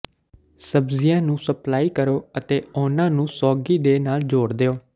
ਸਬਜ਼ੀਆਂ ਨੂੰ ਸਪਲਾਈ ਕਰੋ ਅਤੇ ਉਹਨਾਂ ਨੂੰ ਸੌਗੀ ਦੇ ਨਾਲ ਜੋੜ ਦਿਓ